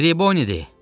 Tribonidir!